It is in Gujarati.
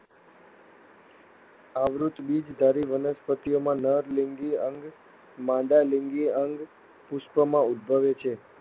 આવૃત્ત બીજધારી વનસ્પતિઓમાં, નર લિંગી અંગ, માદા લિંગી અંગ પુષ્પમાં ઉદ્ભવે છે.